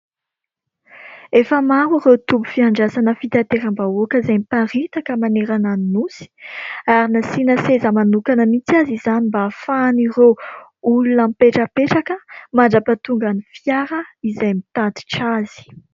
Efa maro ireo tombom _pifandraisana fitanterambahoaka izay miparitaka manerana ny nosy, ary nasiana seza manokana mihintsy aza izany mba hahafahan ireo olona mipetrapetraka mandrapatonga n 'ny fiara izay mitatitra azy.